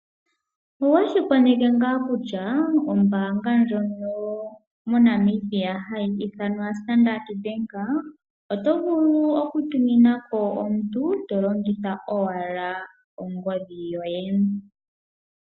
Owe shi koneka ngaa kutya onbaanga ndjoka yomoNamibia yedhina Standard bank . Oto vulu oku tumina ko omuntu to longitha ashike ongodhi yoye.